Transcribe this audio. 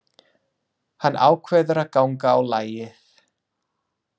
Hann ákveður að ganga á lagið.